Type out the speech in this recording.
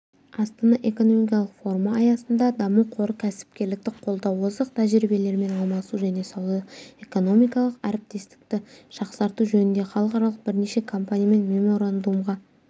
астана экономикалық форумы аясында даму қоры кәсіпкерлікті қолдау озық тәжірибелермен алмасу және сауда-экономикалық әріптестікті жақсарту жөнінде халықаралық бірнеше компаниямен меморандумға